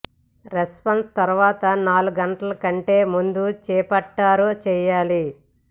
reception తరువాత నాలుగు గంటల కంటే ముందు చేపట్టారు చేయాలి